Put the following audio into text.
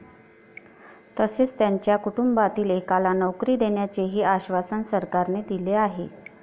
तसेच त्यांच्या कुटुंबातील एकाला नोकरी देण्याचेही आश्वासन सरकारने दिले आहे.